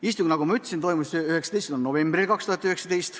Istung, nagu ma ütlesin, toimus 19. novembril.